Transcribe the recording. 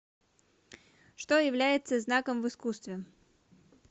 что является знаком в искусстве